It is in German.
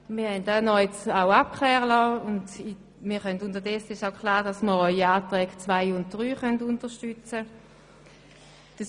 Wir haben Abklärungen vornehmen lassen und unterdessen ist klar, dass wir auch die Anträge 2 und 3 unterstützen können.